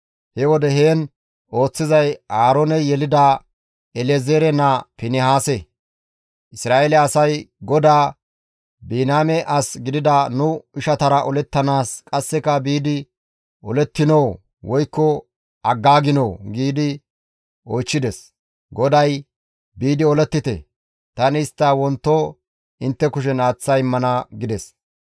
He wode heen ooththizay Aarooney yelida El7ezeere naa Finihaase; Isra7eele asay GODAA, «Biniyaame as gidida nu ishatara olettanaas qasseka biidi olettinoo woykko aggaaginoo?» giidi oychchides. GODAY, «Biidi olettite! Tani istta wonto intte kushen aaththa immana» gides.